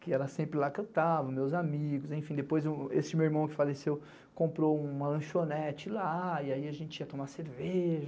que ela sempre lá cantava, meus amigos, enfim, depois esse meu irmão que faleceu comprou uma lanchonete lá, e aí a gente ia tomar cerveja.